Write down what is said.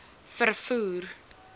vervoer